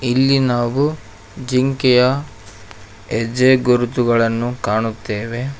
ಇಲ್ಲಿ ನಾವು ಜಿಂಕೆಯ ಹೆಜ್ಜೆ ಗುರುತುಗಳನ್ನು ಕಾಣುತ್ತೇವೆ.